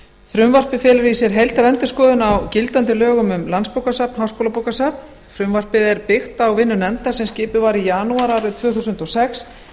frumvarpið felur í sér heildarendurskoðun á gildandi lögum um landsbókasafn háskólabókasafn frumvarpið er byggt á vinnu nefndar sem skipuð var í janúar árið tvö þúsund og sex